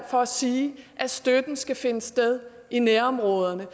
for at sige at støtten skal finde sted i nærområderne